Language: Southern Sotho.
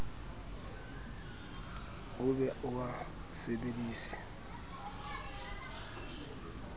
o be o a sebedise